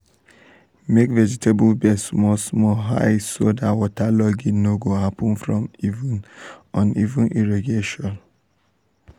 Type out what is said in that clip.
make vegetable beds small small high so dat waterlogging no go happen from uneven irrigation.